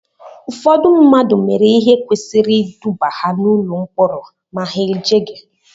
Ụfọdụ mmadụ mere ihe kwesịrị iduba ha n'ụlọ mkpọrọ ma ha ejeghị